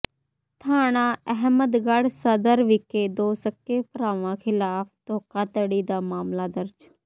ਥਾਣਾ ਅਹਿਮਦਗੜ੍ਹ ਸਦਰ ਵਿਖੇ ਦੋ ਸਕੇ ਭਰਾਵਾਂ ਖਿਲਾਫ਼ ਧੋਖਾਧੜੀ ਦਾ ਮਾਮਲਾ ਦਰਜ